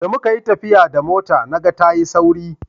da muka yi tafiya da mota na ga ta yi sauri